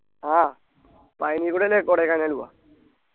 ആ പഴനിക്കൂടി അല്ലെ കൊടൈക്കനാൽ പോവ